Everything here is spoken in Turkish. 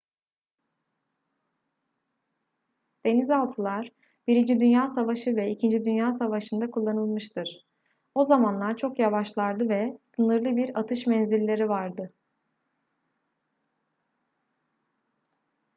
denizaltılar i dünya savaşı ve ii dünya savaşı'nda kullanılmıştır o zamanlar çok yavaşlardı ve sınırlı bir atış menzilleri vardı